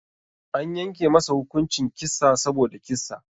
Anyanke masa hukuncin kissa saboda kissa.